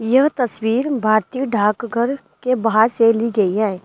यह तस्वीर भारतीय ढाक घर के बाहर से ली गई है।